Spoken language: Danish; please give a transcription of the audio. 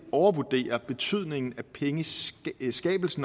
overvurderer betydningen af pengeskabelsen